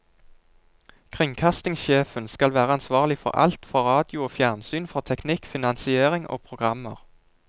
Kringkastingssjefen skal være ansvarlig for alt, for radio og fjernsyn, for teknikk, finansiering og programmer.